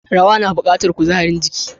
Rawa na bukatar kuzarin jiki.